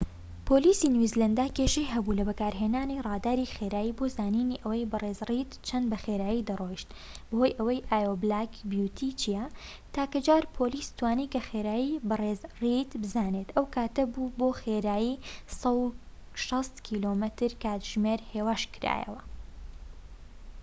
پۆلیسی نیوزیلاندا کێشەی هەبوو لە بەکارهێنانی ڕاداری خێرایی بۆ زانینی ئەوەی بەڕێز ڕێید چەندە بە خێرایی دەڕۆیشت بەهۆی ئەوەی ئایۆو بلاک بیوتی چیە، تاکە جار پۆلیس توانی کە خێرایی بە ڕیز ڕێید بزانێت ئەو کاتە بوو بۆ خێرایی 160 کم/کاتژمێر هێواشکرایەوە